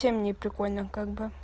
совсем не прикольно как бы